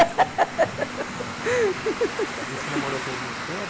E aí você namorou com ele muito tempo?